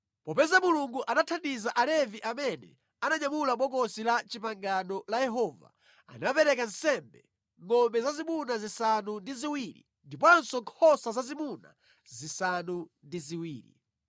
Popeza Mulungu anathandiza Alevi amene ananyamula Bokosi la Chipangano la Yehova, anapereka nsembe ngʼombe zazimuna zisanu ndi ziwiri ndiponso nkhosa zazimuna zisanu ndi ziwiri.